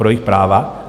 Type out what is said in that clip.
Pro jejich práva?